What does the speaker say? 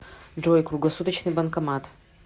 джой круглосуточный банкомат